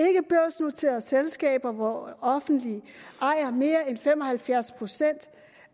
og ikkebørsnoterede selskaber hvor offentlige ejer mere end fem og halvfjerds procent